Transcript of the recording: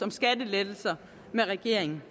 med regeringen